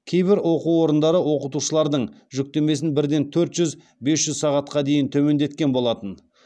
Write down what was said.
кейбір оқу орындары оқытушылардың жүктемесін бірден төрт жүз бес жүз сағатқа дейін төмендеткен болатын